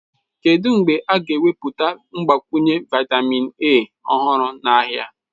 Kedu mgbe a ga-ewepụta mgbakwunye vitamin A ọhụrụ n'ahịa?